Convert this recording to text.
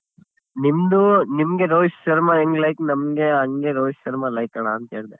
ನಿಮ್ದು ನಿಮ್ಗೆ ರೋಹಿತ್ ಶರ್ಮಾ ಹೆಂಗ್ like ನಮ್ಗೆ ಹಂಗೆ ರೋಹಿತ್ ಶರ್ಮಾ like ಅಣ್ಣ ಅಂತ ಹೇಳ್ದೆ.